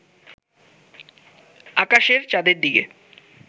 আকাশের চাঁদের দিকে